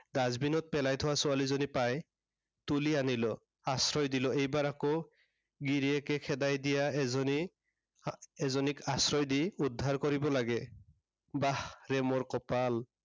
dustbin ত পেলাই থোৱা ছোৱালীজনী, পাই তুলি আনিলো, আশ্ৰয় দিলো। এইবাৰ আকৌ, গিৰিয়েকে খেদাই দিয়া এজনী, এজনীক আশ্ৰয় দি উদ্ধাৰ কৰিব লাগে। বাহ ৰে মোৰ কপাল।